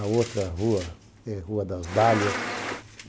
A outra rua é a Rua das Dálias.